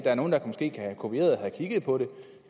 er nogle der måske har kopieret har kigget på den